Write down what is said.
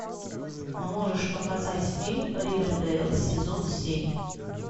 можешь показать фильм ривердейл сезон семь